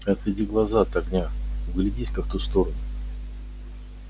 отведи глаза от огня вглядись ка в ту сторону